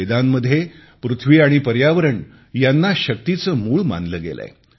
वेदांमध्ये पृथ्वी आणि पर्यावरण यांना शक्तीचे मूळ मानले गेलेय